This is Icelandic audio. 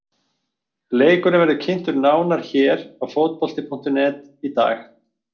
Leikurinn verður kynntur nánar hér á Fótbolti.net í dag.